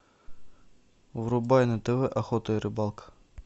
врубай на тв охота и рыбалка